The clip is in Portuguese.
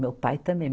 Meu pai também.